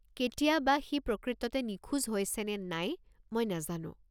কেতিয়া বা সি প্রকৃততে নিখোজ হৈছে নে নাই মই নেজানো।